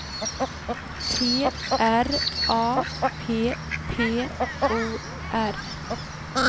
T R A P P O R